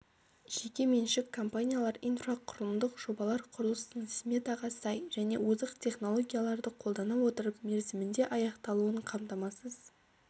жеке меншік компаниялар инфрақұрылымдық жобалар құрылысының сметаға сай және озық технологияларды қолдана отырып мерзіміндеаяқталуын қамтамасыз